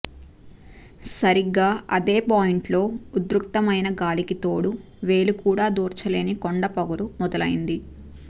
సరిగ్గా అదే పాయింట్లో ఉధృతమైన గాలికి తోడు వేలు కూడా దూర్చలేని కొండ పగులు మొదలైంది